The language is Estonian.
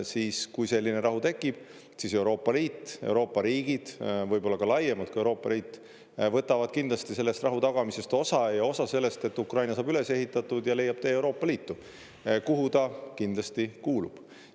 Siis, kui selline rahu tekib, siis Euroopa Liit, Euroopa riigid võib-olla ka laiemalt kui Euroopa Liit, võtavad kindlasti sellest rahu tagamisest osa, ja osa sellest, et Ukraina saab üles ehitatud ja leiab tee Euroopa Liitu, kuhu ta kindlasti kuulub.